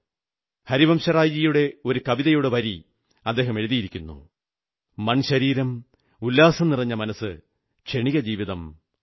ഹരിവംശറായ് ജിയുടെ ഒരു കവിതയുടെ ഒരു വരി അദ്ദേഹം എഴുതിയിരിക്കുന്നു മൺ ശരീരം ഉല്ലാസം നിറഞ്ഞ മനസ്സ് ക്ഷണിക ജീവിതം അതാണു ഞാൻ